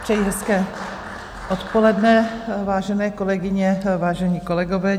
Přeji hezké odpoledne, vážené kolegyně, vážení kolegové.